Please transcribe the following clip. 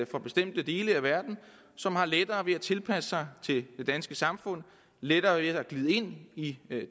fra bestemte dele af verden som har lettere ved at tilpasse sig det danske samfund lettere ved at glide ind i